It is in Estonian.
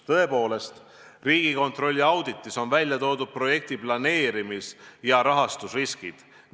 Tõepoolest, Riigikontrolli auditis on välja toodud projekti planeerimise ja rahastamise riskid.